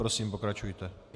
Prosím, pokračujte.